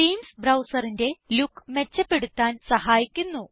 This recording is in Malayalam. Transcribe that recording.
തീംസ് ബ്രൌസറിന്റെ ലുക്ക് മെച്ചപ്പെടുത്താൻ സഹായിക്കുന്നു